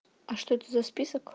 а что это за список